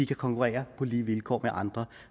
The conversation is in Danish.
konkurrere på lige vilkår med andre